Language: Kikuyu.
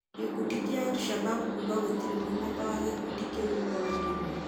Gĩkundi gĩa Al-Shabab kuga gũtirĩ mũmeba wa gĩkundi kĩu ũroragirwo.